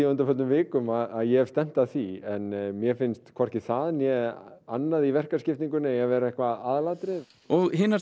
á undanförnum vikum að ég stefni að því en mér finnst hvorki það né eitthvað annað í verkaskiptingunni vera eitthvað aðalatriði og hin